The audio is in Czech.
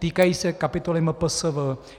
Týkají se kapitoly MPSV.